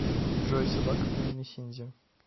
джой собака по имени синди